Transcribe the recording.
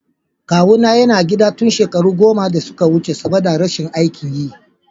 Kawuna yana gida tun shekaro goma da suka wuce saboda rashin aikin yi.